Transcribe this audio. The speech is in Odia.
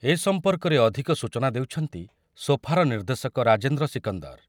ଏ ସମ୍ପର୍କରେ ଅଧିକ ସୂଚନା ଦେଉଛନ୍ତି ସୋଫାର ନିର୍ଦ୍ଦେଶକ ରାଜେନ୍ଦ୍ର ସିକନ୍ଦର